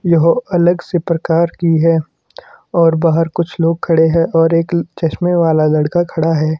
यह अलग से प्रकार की है और बाहर कुछ लोग खड़े हैं और एक चश्मे वाला लड़का खड़ा है।